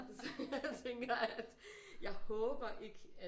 Så jeg tænker at jeg håber ikke at